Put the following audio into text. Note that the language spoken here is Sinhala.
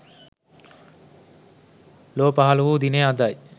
ලොව පහළ වූ දිනය අදයි.